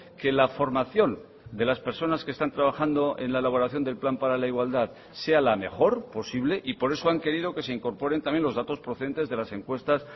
que la formación de las personas que están trabajando en la elaboración del plan para la igualdad sea la mejor posible y por eso han querido que se incorporen también los datos procedentes de las encuestas